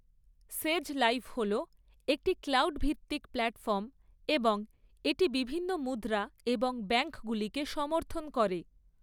‘সেজ live’ হল একটি cloud ভিত্তিক প্ল্যাটফর্ম এবং এটি বিভিন্ন মুদ্রা এবং ব্যাঙ্কগুলিকে সমর্থন করে।